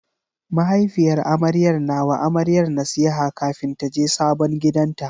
Mahaifiyar amaryar na wa amaryar nasiha kafin taje sabon gidanta.